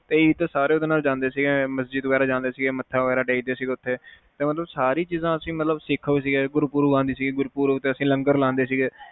ਅਸੀਂ ਸਾਰੇ ਓਹਦੇ ਨਾਲ ਜਾਂਦੇ ਸੀ ਮਸਜਿਦ ਵਗੈਰਾ ਜਾਂਦੇ ਸੀਗੇ ਮੱਥਾ ਵਗੈਰਾ ਟੇਕਦੇ ਸੀ ਓਥੇ, ਤੇ ਮਤਲਬ ਸਾਰੀ ਚੀਜਾਂ ਅਸੀਂ ਸਿੱਖ ਵੀ ਸੀਗੇ, ਗੁਰਪੁਰਬ ਆਂਦੀ ਸੀ ਗੁਰਪੁਰਬ ਤੇ ਅਸੀਂ ਲੰਗਰ ਲਾਂਦੇ ਸੀਗੇ